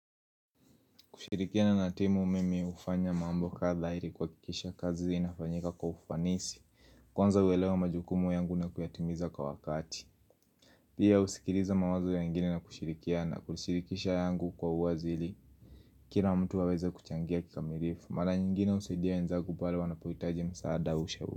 Kushirikiana na timu mimi hufanya mambo kadha ili kuhakikisha kazi inafanyika kwa ufanisi Kwanza huelewa majukumu yangu na kuyatimiza kwa wakati Pia husikiliza mawazo ya wengine na kushirikiana kushirikisha yangu kwa uwazi Kila mtu aweze kuchangia kikamilifu Mara nyingine husaidia wenzangu pale wanapohitaji msaada au ushauri.